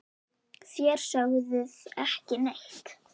Þér sögðuð ekki neitt!